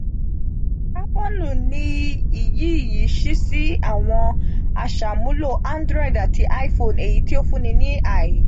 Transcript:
kábọ́ọ̀nù ní iyì yìí ṣíí sí àwọn àṣàmúlò android àti iphone èyítí ó fun ní ààyè.